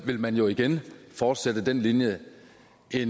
vil man jo igen fortsætte den linje